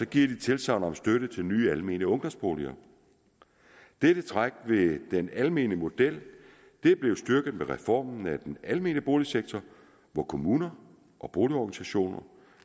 de tilsagn om støtte til nye almene ungdomsboliger dette træk ved den almene model er blevet styrket med reformen af den almene boligsektor hvor kommuner og boligorganisationer